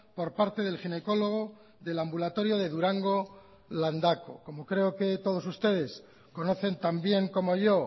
por parte del ginecólogo del ambulatorio de durango landako como creo que todos ustedes conocen también como yo